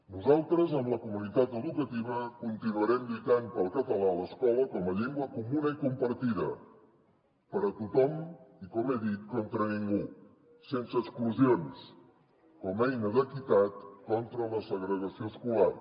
nosaltres amb la comunitat educativa continuarem lluitant pel català a l’escola com a llengua comuna i compartida per tothom i com he dit contra ningú sense exclusions com a eina d’equitat contra la segregació escolar